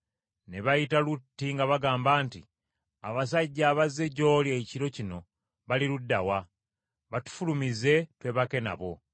ne bayita Lutti nga bagamba nti, “Abasajja abazze gy’oli ekiro kino bali ludda wa? Batufulumize twebake nabo.”